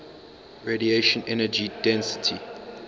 radiation energy density